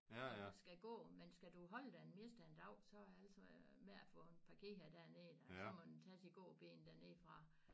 Når man skal gå men skal du holde der det meste af en dag så er det altså med at få den parkeret dernede da så må den tages i gåben dernede fra